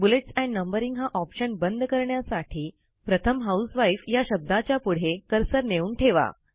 bullets and numbering हा option बंद करण्यासाठी प्रथम हाउसवाईफ या शब्दाच्या पुढे कर्सर नेऊन ठेवा